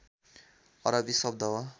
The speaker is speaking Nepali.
अरबी शब्द हो